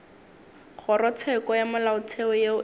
kgorotsheko ya molaotheo yeo e